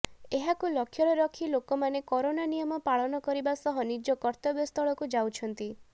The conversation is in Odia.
ଏହାକୁ ଲକ୍ଷ୍ୟରେ ରଖି ଲୋକମାନେ କରୋନା ନିୟମ ପାଳନ କରିବା ସହ ନିଜ କର୍ତବ୍ୟସ୍ଥଳକୁ ଯାଉଛନ୍ତି